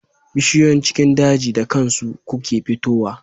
Bishiyoyin cikin daji da kansu kuke fito wa